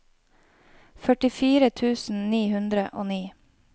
førtifire tusen ni hundre og ni